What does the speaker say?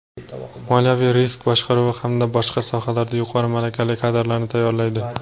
moliyaviy risk boshqaruvi hamda boshqa sohalarda yuqori malakali kadrlarni tayyorlaydi.